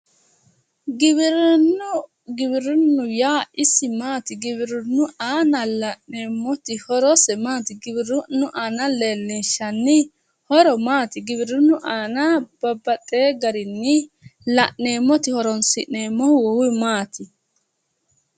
giwirinnu yaa isi maati giwirinnu aana la'neemmoti horose maati? giwirinnu aana leellinshshanni horo maati giwirinnu aana babbaxewo garinni la'neemmoti horonsi'neemmohu maati?